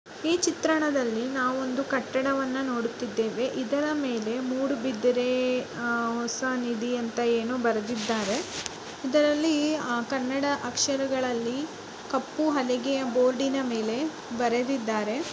ಈ ಚಿತ್ರಣದಲ್ಲಿ ನಾವು ಒಂದು ಕಟ್ಟಡವನ್ನು ನೋಡುತ್ತಿದ್ದೇವೆ. ಇದರ ಮೇಲೆ ಮೂಡುಬಿದರೆ ಆಹ್ ಹೊಸ ನಿಧಿ ಅಂತ ಏನೋ ಬರೆದಿದ್ದಾರೆ. ಇದರಲ್ಲಿ ಆ ಕನ್ನಡ ಅಕ್ಷರಗಳಲ್ಲಿ ಕಪ್ಪು ಹಲಗೆಯ ಬೋರ್ಡಿ ನ ಮೇಲೆ ಬರೆದಿದ್ದಾರೆ.